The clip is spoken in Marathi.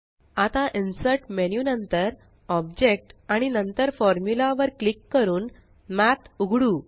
आता इन्सर्ट मेन्यू नंतर ऑब्जेक्ट आणि नंतर फॉर्म्युला वर क्लिक करून मठ उघडू